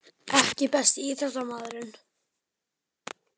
EKKI besti íþróttamaðurinn?